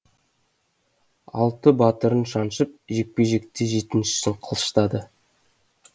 алты батырын шаншып жекпе жекте жетіншісін қылыштады